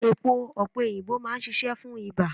Èpo opeyinbo máa ń ṣíṣe fún ibà.